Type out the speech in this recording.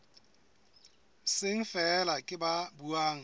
seng feela ke ba buang